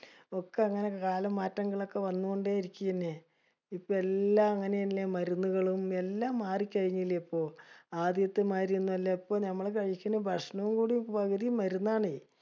ഒക്കെ അങ്ങിനെ കാലമാറ്റങ്ങൾ ഒക്കെ വന്നൊണ്ടെ ഇരികാണ്. ഇപ്പൊ എല്ലാം അങ്ങിനെയല്ലെ. മരുന്നുകളും എലാം മാറിക്കഴിഞ്ഞില്ലേ ഇപ്പൊ. ആദ്യത്തെ മാതിരിയൊന്നും അല്ല. ഇപ്പൊ ഞമ്മള് കഴിക്കണ ഭക്ഷണം കൂടി പകുതീം മരുന്നാണെ.